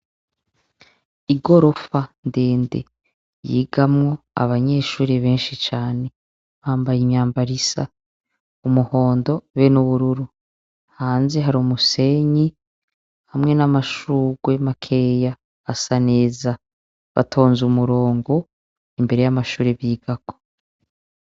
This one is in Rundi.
Igorofa ndende yigamwo abanyeshure benshi cane, bambaye imyambaro isa :umuhondo be n'ubururu, hanze hari umusenyi hamwe n'amashurwe makeyi asa neza, batonz 'umurongo imbere y'amashure bigako.